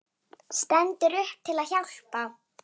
Stendur upp til að hjálpa.